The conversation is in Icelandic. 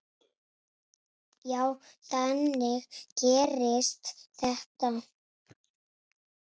Já, þannig gerist þetta.